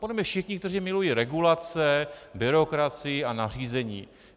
Podle mě všichni, kteří milují regulace, byrokracii a nařízení.